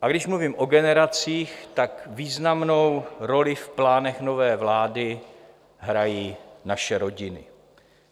A když mluvím o generacích, tak významnou roli v plánech nové vlády hrají naše rodiny.